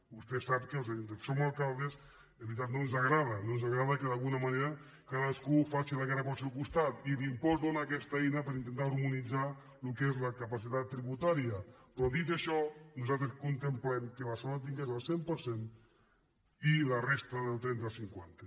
vostè sap que als que som alcaldes és veritat no ens agrada no ens agrada que d’alguna manera cadascú faci la guerra pel seu costat i l’impost dóna aquesta eina per intentar harmonitzar el que és la capacitat tributària però dit això nosaltres contemplem que barcelona en tingui el cent per cent i la resta del trenta al cinquanta